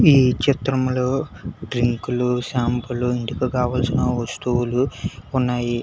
ఈ చిత్రంలో డ్రింకులు షాంపూలు ఎందుకు కావాల్సిన వస్తువులు ఉన్నాయి